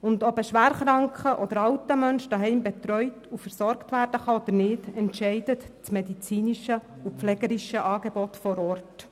Ob ein schwer kranker oder alter Mensch zu Hause betreut und versorgt werden kann oder nicht, entscheidet das medizinische und pflegerische Angebot vor Ort.